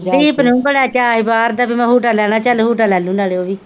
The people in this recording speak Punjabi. ਦੀਪ ਨੂੰ ਵੀ ਬੜਾ ਚਾਅ ਹੀ ਬਾਹਰ ਦਾ ਪੀ ਮੈ ਹੂਟਾ ਲੈਣਾ ਚਲ ਹੂਟਾ ਲੇਲੁ ਨਾਲੇ ਓਵੀ।